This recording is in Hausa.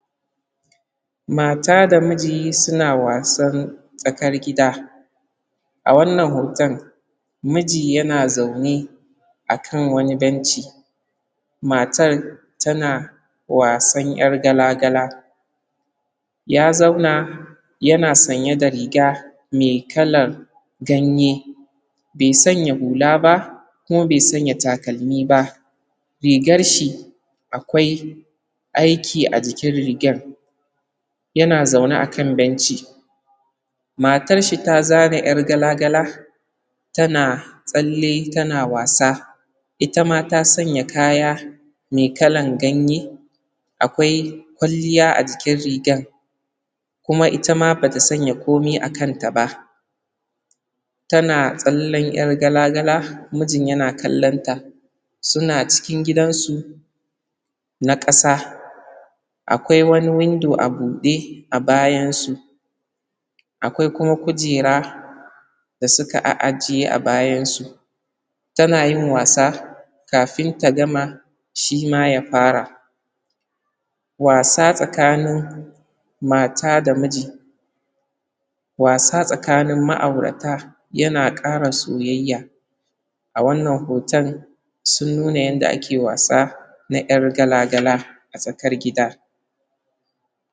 Mata da miji suna wasan tsakar gida, a wannan hoton, miji yana zaune akan a wani benci, matar tana wasan yar gala gala, ya zaune, yana sanya da riga, mai kalar ganye bai sanya hula ba kuma bai sanya takalmi ba rigarshi akwai aiki a jikin rigar, ya na zaune akan benci, matar shi ta zana yar gala gala, tana tsalle tana wasa itama ta sanya kaya mai kalan ganye, akwai kwalliya ajikin rigar, kuma itama bata sanya komai akan ta ba, tana tsallen yar gala gala mijin yana kallonta suna cikin gidan su na kasa akwai wani windo abude a bayansu akwai kuma kujera da suka ajiyeba bayan su tana yin wasa kafin ta gama shi ma ya fara, wasa tsakanin mata da miji, wasa tsakanin ma’aurata yana ƙara soyayya a wannan hoton sun nuna yanda ake wasa na yar gala gala a tsakar gida.